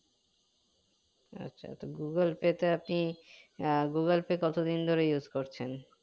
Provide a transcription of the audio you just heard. আচ্ছা তো google pay তে আপনি আহ google pay কত দিন ধরে use করছেন